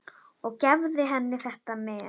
Og gefðu henni þetta men.